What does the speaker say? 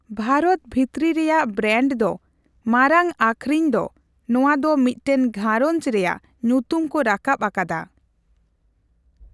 ᱵᱷᱟᱨᱚᱛ ᱵᱷᱤᱛᱨᱤ ᱨᱮᱭᱟᱜ ᱵᱨᱮᱱᱰ ᱫᱚ ᱢᱟᱨᱟᱝ ᱟᱹᱠᱷᱨᱤᱧ ᱫᱚ ᱱᱚᱣᱟ ᱫᱚ ᱢᱤᱫᱴᱟᱝ ᱜᱷᱟᱸᱨᱚᱧᱡᱽ ᱨᱮᱭᱟᱜ ᱧᱩᱛᱩᱢ ᱠᱚ ᱨᱟᱠᱟᱵ ᱟᱠᱟᱫᱟ ᱾